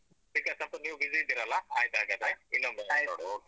ಈಗ ಸ್ವಲ್ಪ ನೀವು busy ಇದ್ದೀರಲ್ಲ ಆಯ್ತು ಹಾಗಾದ್ರೆ ಇನ್ನೊಮ್ಮೆ ಮಾತ್ನಾಡುವ okay.